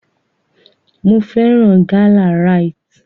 Mo fẹ́ràn gálà Rite.